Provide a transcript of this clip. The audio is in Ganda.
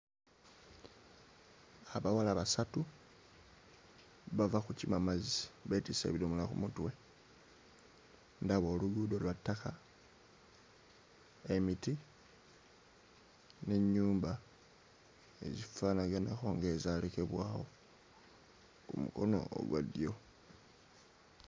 Abawala basatu bava kukima mazzi beetisse ebidomola ku mutwe, ndaba oluguudo lwa ttaka, emiti n'ennyumba ezifaanaganako ng'ezaalekebwawo ku mukono ogwa ddyo.